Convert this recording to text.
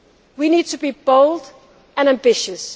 We need to be bold and ambitious.